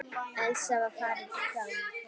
Elsa var farin fram.